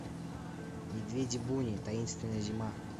медведи буни таинственная зима